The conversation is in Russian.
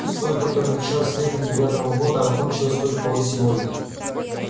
с той которая началась летом девятого года а кончилась только вот сегодня